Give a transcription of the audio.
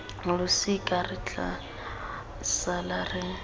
losika re tla sala re